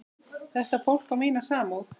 Þetta fólk á mína samúð.